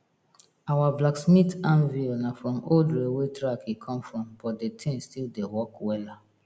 our blacksmith anvil na from old railway track e come from but de thing still dey work wella